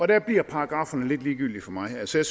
der bliver paragrafferne lidt ligegyldige for mig altså